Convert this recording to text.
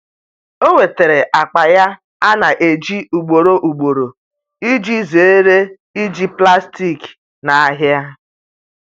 o nwetara akpa ya ana eji ugboro ugboro iji zere iji plastik na ahia